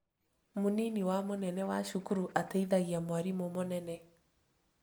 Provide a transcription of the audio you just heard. Mũnini wa mũnene wa cukuru atethagia mwarimũ mũnene